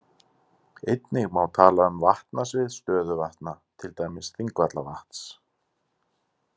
Einnig má tala um vatnasvið stöðuvatna, til dæmis Þingvallavatns.